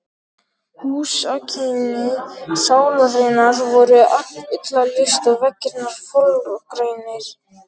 Húsakynni Sálarinnar voru illa lýst, og veggirnir fölgrænir.